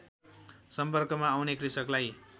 सम्पर्कमा आउने कृषकलाई